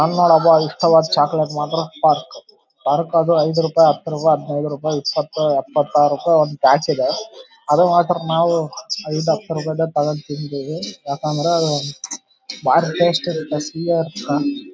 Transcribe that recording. ಅಲ್ನೋಡಪ ಇಷ್ಟವಾದ ಚಾಕಲೇಟ್ ಮಾತ್ರ ಸ್ಟಾಕ್ ಯಾವಾದಕಾದ್ರು ಐದು ರೂಪಾಯಿ ಹತ್ತು ರೂಪಾಯಿ ಹದಿನೈದು ರೂಪಾಯಿ ಇಪ್ಪತ್ತು ಎಪ್ಪತ್ತಾರು ದ್ ಒಂದ್ ಪ್ಯಾಕ್ ಇದೆ ಅದು ಮಾತ್ರ ನಾವು ಐದು ಹತ್ತು ರೂಪಾಯಿದೆ ತಗೊಂಡ್ ತಿಂತೀವಿ ಯಾಕಂದ್ರ ಅದು ಬಾರಿ ಟೇಸ್ಟ್ ಇರತ್ತೆ.